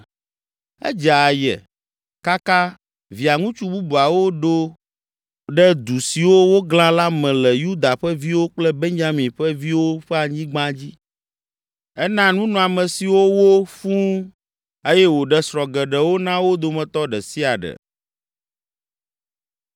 Edze aye, kaka Via ŋutsu bubuawo ɖo ɖe du siwo woglã la me le Yuda ƒe viwo kple Benyamin ƒe viwo ƒe anyigba dzi. Ena nunɔamesiwo wo fũu eye wòɖe srɔ̃ geɖewo na wo dometɔ ɖe sia ɖe.